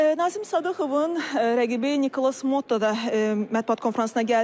Nazim Sadıxovun rəqibi Nikolas Motto da mətbuat konfransına gəldi.